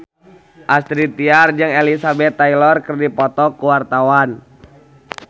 Astrid Tiar jeung Elizabeth Taylor keur dipoto ku wartawan